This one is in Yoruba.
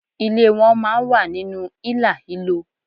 Ilé won máa n wà nínú ílàhílo